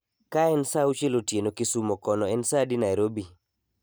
Kaen sa auchiel otieno kisumo kono en sa adi narobi